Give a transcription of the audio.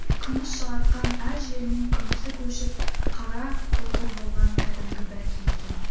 күміс жалатқан әр жерінің күмісі көшіп қара қотыр болған кәдімгі бәкі екен